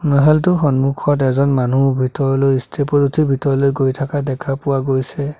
টো সন্মুখত এজন মানুহ ভিতৰলৈ ষ্টেপ ত উঠি ভিতৰতলৈ গৈ থকা দেখা পোৱা গৈছে।